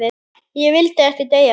Ég vildi ekki deyja.